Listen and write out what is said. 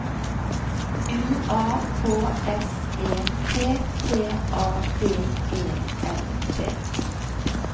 U A K S E P T A B E L T